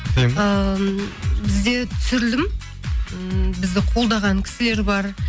ыыы бізде түсірілім м бізді қолдаған кісілер бар